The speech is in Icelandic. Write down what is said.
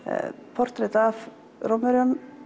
portrett af Rómverjum